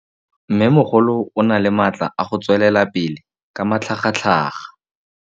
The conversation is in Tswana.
Mmêmogolo o na le matla a go tswelela pele ka matlhagatlhaga.